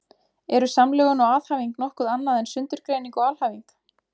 Eru samlögun og aðhæfing nokkuð annað en sundurgreining og alhæfing?